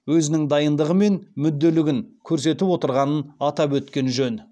өзінің дайындығы мен мүдделігін көрсетіп отырғанын атап өткен жөн